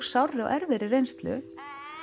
sárri og erfiðri reynslu